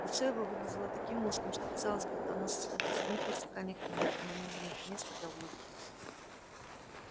лицо его выглядело таким узким что казалось будто оно состоит из одних вертикальных линий и на нём нет места для улыбки